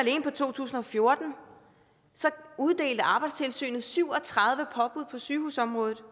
på to tusind og fjorten uddelte arbejdstilsynet syv og tredive påbud på sygehusområdet